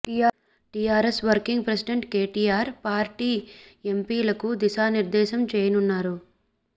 TRS working president KTR party ఎంపీలకు దిశా నిర్ధేశం చేయనున్నారు